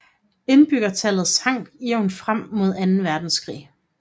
Indbyggertallet sank jævnt frem mod anden verdenskrig